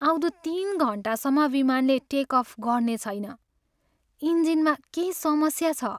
आउँदो तिन घन्टासम्म विमानले टेक अफ गर्ने छैन। इन्जिनमा केही समस्या छ।